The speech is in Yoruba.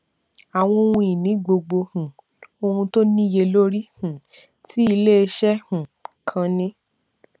àwọn ohun ìní gbogbo um ohun tó níye lórí um tí iléeṣẹ um kan ní